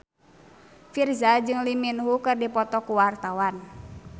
Virzha jeung Lee Min Ho keur dipoto ku wartawan